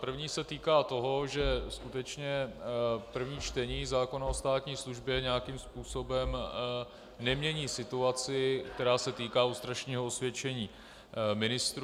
První se týká toho, že skutečně první čtení zákona o státní službě nějakým způsobem nemění situaci, která se týká lustračního osvědčení ministrů.